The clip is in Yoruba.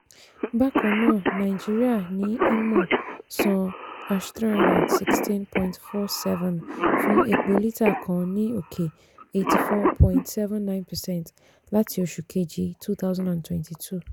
bákan náà nàìjíríà ní imo san # three hundred sixteen point four seven fún epo lítà kan ní òkè eighty four point seven nine percent láti oṣù kejì twenty twenty two.